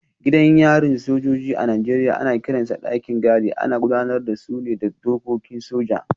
Gidan yarin sojoji a Najeriya ana kiransa dakin gadi, ana gudanar da su ne da dokokin soja.